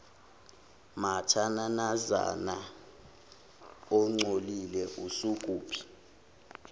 mathananazana ongcolile usukuphi